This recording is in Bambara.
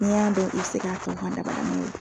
Ni y'a dɔn i bi se ka fɔ da n'u ye